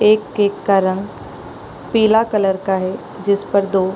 एक केक का रंग पीला कलर का है जिस पर दो --